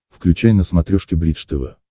включай на смотрешке бридж тв